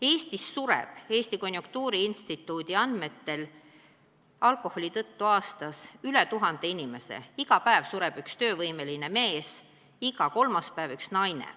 Eestis sureb Eesti Konjunktuuriinstituudi andmetel alkoholi tõttu aastas üle 1000 inimese – iga päev sureb üks töövõimeeas mees, iga kolmas päev üks naine.